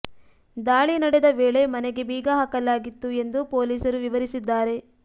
ದಾಳಿ ನಡೆದ ವೇಳೆ ಮನೆಗೆ ಬೀಗ ಹಾಕಲಾಗಿತ್ತು ಎಂದು ಪೊಲೀಸರು ವಿವರಿಸಿದ್ದಾರೆ